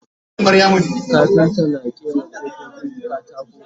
kafinta na ƙera kofofin katako